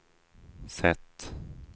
sätt